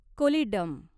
Kollidam